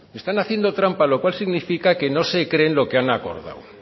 están haciendo trampa lo cual significa que no se creen lo que han acordado